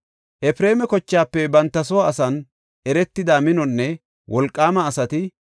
Efreema kochaafe banta soo asan eretida minonne wolqaama asati 20,800.